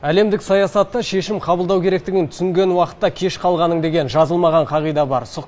әлемдік саясатта шешім қабылдау керектігін түсінген уақытта кеш қалғаның деген жазылмаған қағида бар